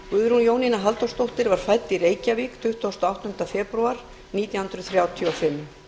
guðrún jónína halldórsdóttir var fædd í reykjavík tuttugasta og áttunda febrúar nítján hundruð þrjátíu og fimm